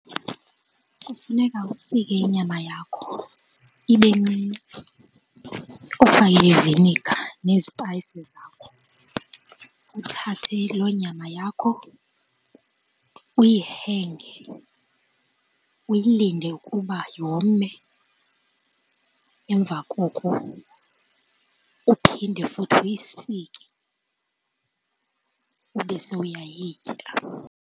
Kufuneka usike inyama yakho ibe ncinci, ufake iviniiga nezipayisi zakho, uthathe loo nyama yakho uyihenge, uyilinde ukuba yome. Emva koko uphinde futhi uyisike ube sowuyayitya.